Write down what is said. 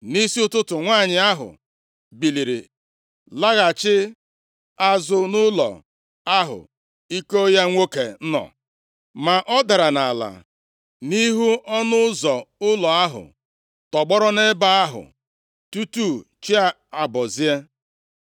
Nʼisi ụtụtụ, nwanyị ahụ biliri laghachi azụ nʼụlọ ahụ iko ya nwoke nọ. Ma ọ dara nʼala nʼihu ọnụ ụzọ ụlọ ahụ tọgbọrọ nʼebe ahụ tutu chi abọzie.